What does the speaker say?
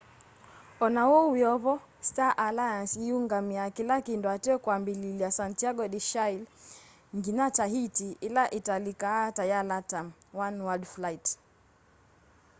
ona uu wiovo star aliance iungamia kila kindu ateo kwambililya santiago de chile nginya tahiti ila italikaa ta ya latam oneworld flight